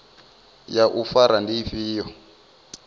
ya u fara ndi ifhio